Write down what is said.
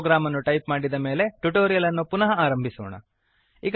program ಅನ್ನು type ಮಾಡಿದ ಮೇಲೆ ಟ್ಯುಟೋರಿಯಲ್ ಅನ್ನು ಪುನಃ ಆರಂಭಿಸೋಣ